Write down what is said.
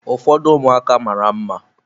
Ụfọdụ ụmụaka mara mma.